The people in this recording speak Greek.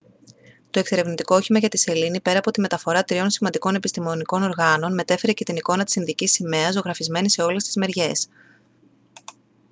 το εξερευνητικό όχημα για τη σελήνη πέρα από τη μεταφορά τριών σημαντικών επιστημονικών οργάνων μετέφερε και την εικόνα της ινδικής σημαίας ζωγραφισμένη σε όλες τις μεριές